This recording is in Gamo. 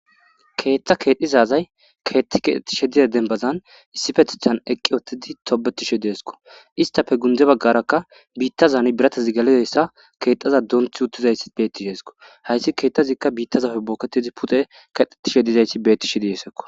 Keeththa keedhdhizazay keethti keeetishe diya dembazan issifetechan eqqi oottidi tobetishe deesko istafe gunde baggarakka biittazani biratazi galiyoyssa keexaza doonthi uttizayi bettisheesko hayssi keeththazikka biittazafe booketidi pute kedetishe dizayti bettishe diesekko.